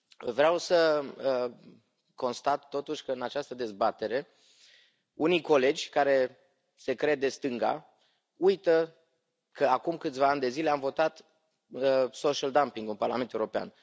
Vreau să constat, totuși, că, în această dezbatere, unii colegi, care se cred de stânga, uită că acum câțiva ani de zile am votat social dumping ul în Parlamentul European.